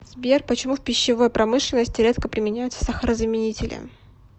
сбер почему в пищевой промышленности редко применяются сахарозаменители